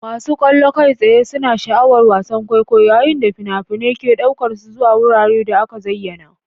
Masu kallo kai tsaye suna sha'awar wasan kwaikwayo, yayin da fina-finai ke ɗaukar su zuwa wuraren da aka zayyana.